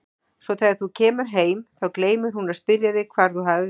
Svo þegar þú kemur heim, þá gleymir hún að spyrja þig hvar þú hafir verið.